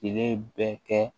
Kile bɛɛ kɛ